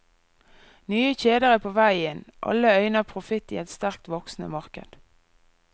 Nye kjeder er på vei inn, alle øyner profitt i et sterkt voksende marked.